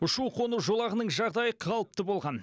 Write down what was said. ұшу қону жолағының жағдайы қалыпты болған